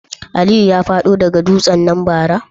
Aliyu ya fado daga dutsen nan bara?